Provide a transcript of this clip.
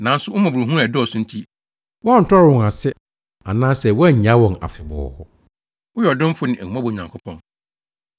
Nanso wo mmɔborɔhunu a ɛdɔɔso nti, woantɔre wɔn ase anaa woannyaa wɔn afebɔɔ. Woyɛ ɔdomfo ne ahummɔbɔ Nyankopɔn.